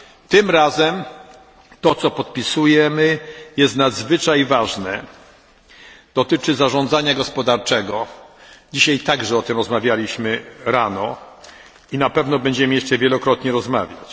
Tym razem to, co podpisujemy, jest nadzwyczaj ważne, dotyczy zarządzania gospodarczego. Dzisiaj rano także o tym rozmawialiśmy i na pewno będziemy jeszcze wielokrotnie rozmawiać.